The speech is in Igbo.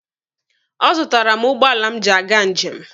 Ọ zụtaara m ụgbọala m ji aga njem.